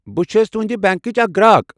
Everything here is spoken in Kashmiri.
بہٕ چھس تُہنٛدِ بنٛکٕچ اکھ گراك۔